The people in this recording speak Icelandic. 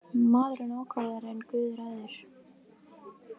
Maðurinn ákvarðar en guð ræður.